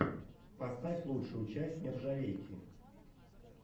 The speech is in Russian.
поставь лучшую часть нержавейки